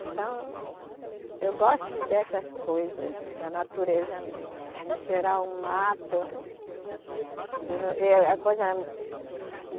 Então, eu gosto dessas coisas, da natureza mesmo, de cheirar o mato. Eu não coisa